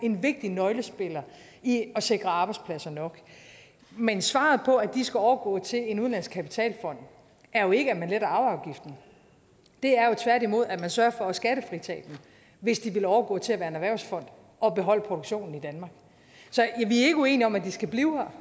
en vigtig nøglespiller i at sikre arbejdspladser nok men svaret på at de skal overgå til en udenlandsk kapitalfond er jo ikke at man letter arveafgiften det er jo tværtimod at man sørger for at skattefritage dem hvis de vil overgå til at være en erhvervsfond og beholde produktionen i danmark så vi er ikke uenige om at de skal blive her